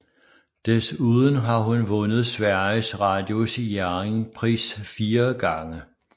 Desuden har hun vundet Sveriges Radios Jerringpris fire gange